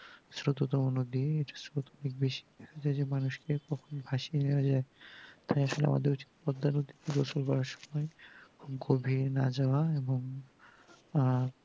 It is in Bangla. স্ৰোততম নদী যার স্রোত খুব বেশি এটা যে মানুষকে কখন ভাসিয়ে নিয়ে যাই তা আসলে আমাদের পদ্মা নদীতে গোসল করার সময় গভীর না যাওয়া এবং আর